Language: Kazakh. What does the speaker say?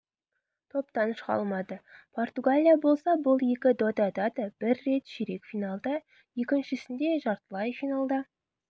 топтан шыға алмады португалия болса бұл екі додада бір рет ширек финалда екіншісінде жартылай финалда